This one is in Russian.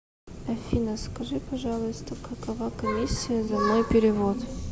афина скажи пожалуйста какова комиссия за мой перевод